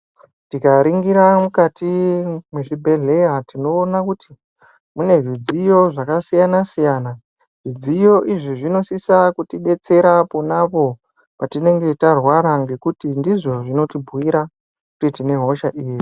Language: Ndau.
Tikaringira mukati mwezvibhedhleya tinoona kuti mune zvidziyo zvakasiyana siyana. Zvidziyo izvi zvinosisa kutidetsera ponapo patinenge tarwara ngekuti ndizvo zvinotibhuira kuti tine hosha iyi.